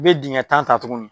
I bɛ dingɛ tan ta tuguni.